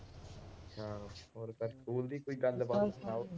ਹੋਰ ਫਿਰ ਸਕੂਲ ਦੀ ਕੋਈ ਗੱਲਬਾਤ ਸੁਣਾਓ।